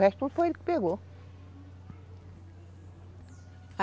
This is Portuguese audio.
O resto tudo foi ele quem pegou.